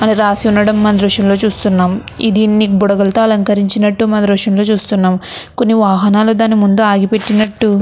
అని రాసి ఉండడమో మనమేదృశ్యంగా చూస్తున్నాము. దీన్ని బుడగలతో అలంకరించినట్టు మనం ఈ దృశ్యంలో చూస్తున్నాము. కొన్ని వాహనాలు దాని ముందు ఆగిపెట్టినట్టు --